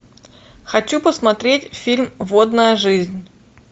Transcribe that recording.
хочу посмотреть фильм водная жизнь